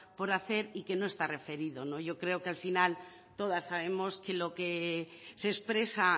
por hacer y que no está referido yo creo que al final todas sabemos que lo que se expresa